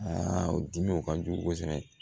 o dimiw ka jugu kosɛbɛ